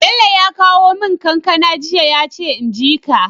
Bello ya kawo mun kankAna jiya yace inji ka